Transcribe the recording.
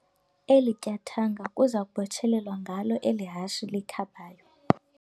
Eli tyathanga kuza kubotshelelwa ngalo eli hashe likhabayo.